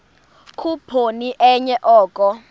khuphoni enye oko